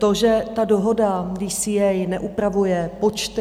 To, že ta dohoda DCA neupravuje počty?